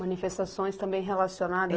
Manifestações também relacionadas?